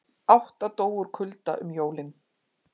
Átta dóu úr kulda um jólin